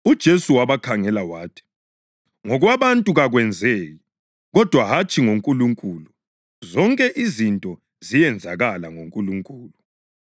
UJesu wabakhangela wathi, “Ngokwabantu kakwenzeki, kodwa hatshi ngoNkulunkulu; zonke izinto ziyenzakala ngoNkulunkulu.”